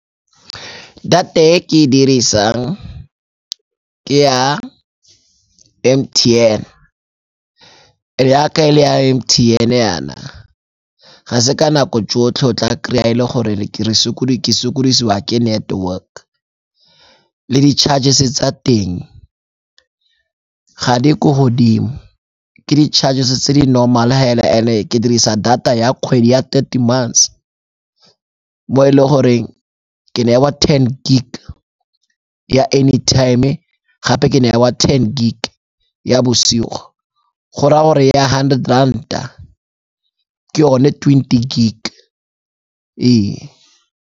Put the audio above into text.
Data e ke e dirisang ke ya M_T_N yaka e le ya M_T_N-e yana, ga se ka nako tsotlhe o tla kry-a e le gore ke se sokodisiwa ke network le di charges-e tsa teng ga di ko godimo. Ke di-charges-e tse di normal-e hela and-e ke dirisa data ya kgwedi ya thirty months mo e le goreng ke newa ten gig ya any time gape ke newa ten gig ya bosigo go raya gore ya hundred Rand-a ke one ya twenty gig ee.